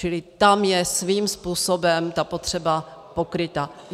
Čili tam je svým způsobem ta potřeba pokryta.